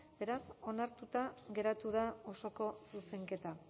beraz onartuta geratu da osoko zuzenketa